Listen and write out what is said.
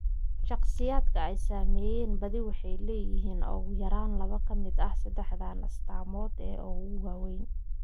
Shakhsiyaadka ay saameeyeen badi waxay leeyihiin ugu yaraan laba ka mid ah saddexdan astaamood ee ugu waaweyn.